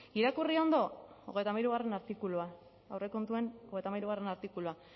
irakurri ondo hogeita hamairugarrena artikulua aurrekontuen hogeita hamairugarrena artikulua